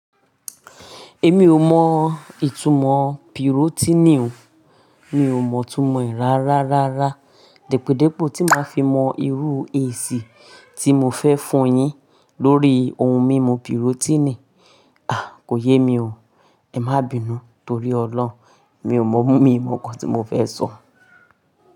Èmi ò mọ ìtumọ̀ Pirotíìnì o. Mi ò mọ ìtumọ̀ ẹ rárá rárá. Dẹ́podẹ́po tí màá fi mọ irú èsì tí mo fẹ́ fún yín lórí ohun mímu Pirotíìnì. A! Kò yé mi o. Ẹ má bínú torí Ọlọ́run. Mi ò mọ ohun mí mu kan tí mo fẹ́ sọ.